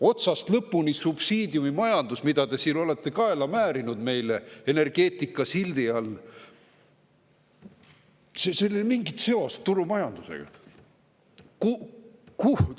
Otsast lõpuni subsiidiumimajandusel, mida te siin olete kaela määrinud meile energeetikasildi all, ei ole mingit seost turumajandusega.